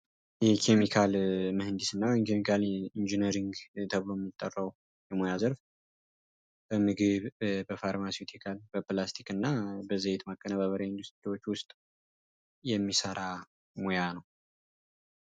የኬሚካል ምህንድስና ወይም ደግሞ ኬሚካል ኢንጂነሪንግ ተብሎ የሚጠራው በምግብ፣ በፍርማሲስቲካል እና በዘይት ማቀነባበሪያ ኢንዱስትሪዎች ውስጥ የሚሰራ ሙያ ነው።